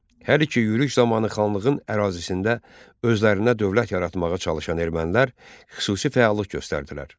Hər iki yürüş zamanı xanlığın ərazisində özlərinə dövlət yaratmağa çalışan ermənilər xüsusi fəallıq göstərdilər.